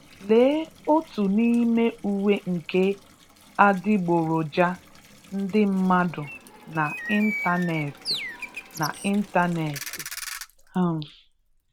Lee otu n'ime uwe nke adịgboroja ndị mmadụ na ịntanetị. na ịntanetị. um